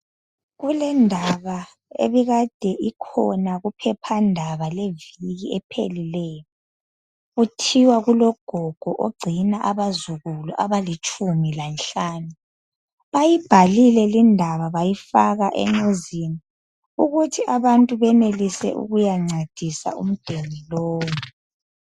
Kulendaba ebikade ikhona kuphephandaba leviki ephelileyo kuthiwa kulogogo ogcina abazukulu abalitshumi lanhlanu bayibhalile londaba bayifaka enyuzini ukuthi abantu benelise ukuyancedisa ugogo lowu.